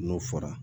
N'o fɔra